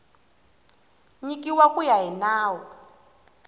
nyikiwa ku ya hi nawu